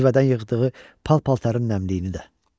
Zivədən yığdığı pal-paltarın nəmliyini də.